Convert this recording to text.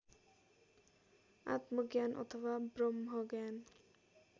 आत्मज्ञान अथवा ब्रम्हज्ञान